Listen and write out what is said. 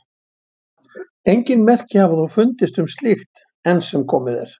Engin merki hafa þó fundist um slíkt enn sem komið er.